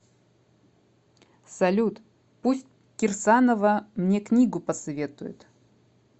салют пусть кирсанова мне книгу посоветует